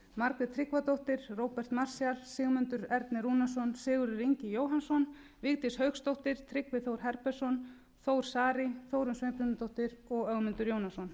margrét tryggvadóttir róbert marshall sigmundur ernir rúnarsson sigurður ingi jóhannssonvigdís hauksdóttir tryggvi þór herbertsson þór saari þórunn sveinbjarnardóttir ögmundur jónasson